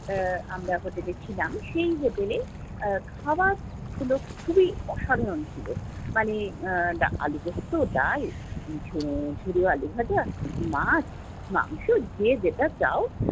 আহ আমরা যেখানে ছিলাম, সেই হোটেলে আহ খাবারগুলো খুবই অসাধারন ছিলো। মানে আহ আলুপোস্ত, ডাল, ঝুরো আলু ভাজা, মাছ মাংস, যে যেটা চাও।